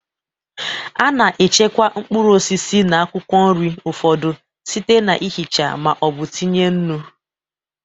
A na-echekwa mkpụrụ osisi na akwụkwọ nri ụfọdụ site n'ihicha ma ọ bụ itinye nnu.